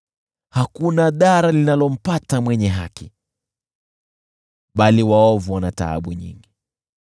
Hakuna dhara linalompata mwenye haki, bali waovu wana taabu nyingi.